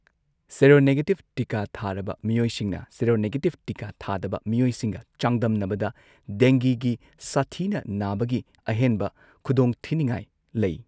Seronegative ꯇꯤꯀꯥ ꯊꯥꯔꯕ ꯃꯤꯑꯣꯏꯁꯤꯡꯅ ꯁꯦꯔꯣꯅꯦꯒꯦꯇꯤꯕ ꯇꯤꯀꯥ ꯊꯥꯗꯕ ꯃꯤꯑꯣꯏꯁꯤꯡꯒ ꯆꯥꯡꯗꯝꯅꯕꯗ ꯗꯦꯡꯒꯤꯒꯤ ꯁꯥꯊꯤꯅ ꯅꯥꯕꯒꯤ ꯑꯍꯦꯟꯕ ꯈꯨꯗꯣꯡꯊꯤꯅꯤꯡꯉꯥꯏ ꯂꯩ꯫